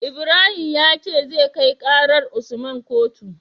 Ibrahim yace zai kai karar usman kotu